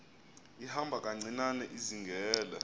ihamba kancinane izingela